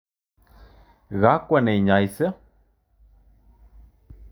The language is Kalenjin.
Kakwo neinyose?